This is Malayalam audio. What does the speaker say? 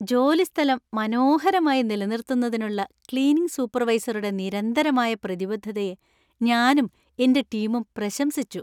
ജോലിസ്ഥലം മനോഹരമായി നിലനിർത്തുന്നതിനുള്ള ക്ലീനിംഗ് സൂപ്പർവൈസറുടെ നിരന്തരമായ പ്രതിബദ്ധതയെ ഞാനും എന്‍റെ ടീമും പ്രശംസിച്ചു.